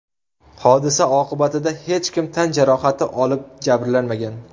Hodisa oqibatida hech kim tan jarohati olib, jabrlanmagan.